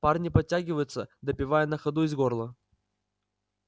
парни подтягиваются допивая на ходу из горла